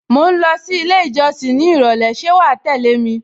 Mò ń lọ sí ilé ìjọsìn ní ìrọ̀lẹ́ ṣé wàá tẹ́lẹ̀ mi?